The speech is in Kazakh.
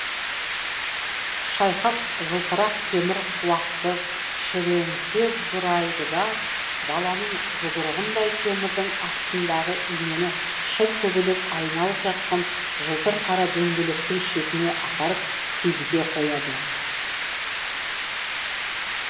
шайхат жылтырақ темір құлақты шіренте бұрайды да баланың жұдырығындай темірдің астындағы инені шыр көбелек айналып жатқан жылтыр қара дөңгелектің шетіне апарып тигізе қояды